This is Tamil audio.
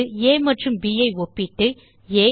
இது ஆ மற்றும் ப் ஐ ஒப்பிட்டு ஆ